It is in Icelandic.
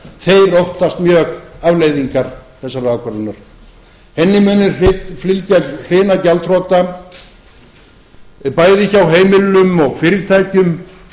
þeir óttast mjög afleiðingar þessarar ákvörðunar henni mun fylgja hrina gjaldþrota bæði hjá heimilum og fyrirtækjum